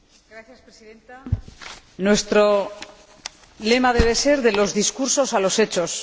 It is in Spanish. Señora Presidenta, nuestro lema debe ser De los discursos a los hechos.